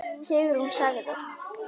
Hugrún sagði